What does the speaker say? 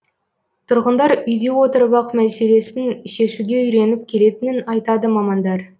тұрғындар үйде отырып ақ мәселесін шешуге үйреніп келетінін айтады мамандар